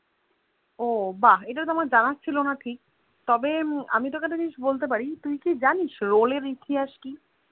ও বাহ ইটা আমার জানা ছিলোনা ঠিক তবে এই তোকে একটা জিনিস বলতে পারি তুই কি জিনিস Roll এর ইতিহাস কি